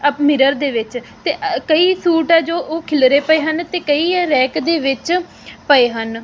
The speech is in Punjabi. ਅਪ ਮਿਰਰ ਦੇ ਵਿੱਚ ਤੇ ਅ ਕਈ ਸੂਟ ਐ ਜੋ ਉਹ ਖਿਲਰੇ ਪਏ ਹਨ ਤੇ ਕਈ ਇਹ ਰੈਕ ਦੇ ਵਿੱਚ ਪਏ ਹਨ।